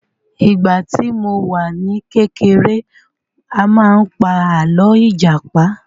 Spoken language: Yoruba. Ìgbà tí mo wà ní kékeré a máa pa àlọ́ ìjàpá